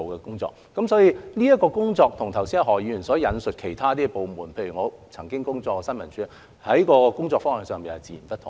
因此，這方面的工作跟何議員剛才引述其他部門——例如我曾工作的新聞處——的工作方向截然不同。